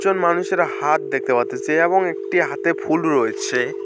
মানুষের হাত দেখতে পারতেসি এবং একটি হাতে ফুল রয়েছে।